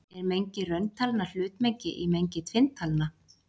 Er mengi rauntalna hlutmengi í mengi tvinntalna?